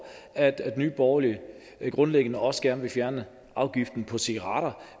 at nye borgerlige grundlæggende også gerne vil fjerne afgiften på cigaretter